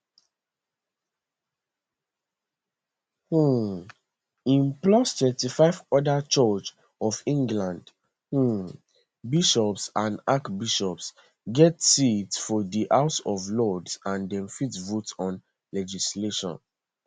um im plus 25 oda church of england um bishops and archbishops get seats for di house of lords and dem fit vote on legislation